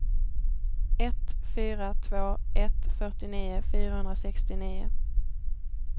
ett fyra två ett fyrtionio fyrahundrasextionio